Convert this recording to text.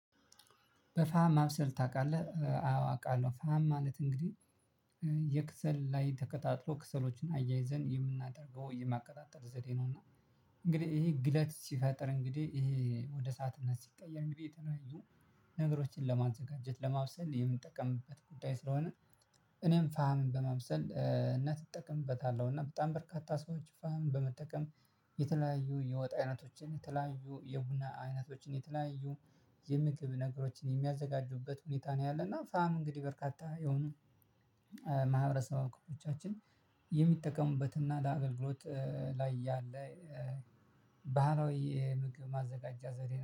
በፋም ማብሰል ታውቃለህ አዎ አውቃለሁ ፋሀም ማለት እንግዲህ የከሰል ላይ ተቀጣጥሎ ከሰሎችን አያይዘን የምናደርገው የማቀጣጠል ዘዴ ነው። እና እንግዲህ ይሄ ግለት ሲፈጥር እንግዲህ ይሄ ወደ እሳትነት ሲቀየር እንግዲህ የተለያዩ ነገሮችን ለማዘጋጀት ለማብሰል የምንጠቀምበት ጉዳይ ስለሆነ። እኔም ፋሀም በማብሰል ነት እጠቀምበታለሁ እና በጣም በርካታ ሰዎች ፋም በመጠቀም የተለያዩ የወጥ አይነቶችን የተለያዩ የቡና አይነቶችን የተለያዩ የምግብ ነገሮችን የሚያዘጋጁበት ሁኔታ ነው። ያለና ፋሀም እንግዲህ በርካታ የሆኑ ማህበረሰብ አክፍሎቻችን የሚጠቀሙበትና ለአገልግሎት ላይ ያለ የተለያዩ የወጣ አይነቶችን የተለያዩ የቡና አይነቶችን የተለያዩ